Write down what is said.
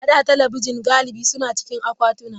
A da, talabijin galibi suna cikin akwatuna.